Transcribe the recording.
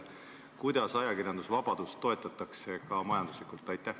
Kuidas ajakirjandusvabadust toetatakse, ka majanduslikult?